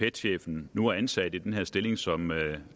pet chefen nu er ansat i den her stilling som